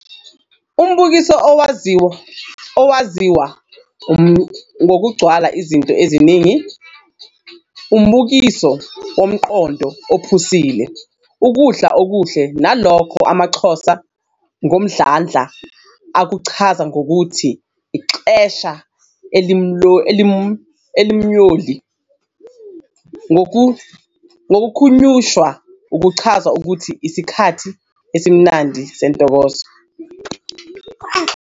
Umbukiso owaziwa ngokwugcwala izinto eziningi, ubukiso womqondo ophusile, ukudla okuhle nalokho amaXhosa ngomdlandla akuchaza ngokuthi-'ixesha elimyoli' ngokuhunyushwa kuchaza ukuthi isikhathi esimnandi nentokozo.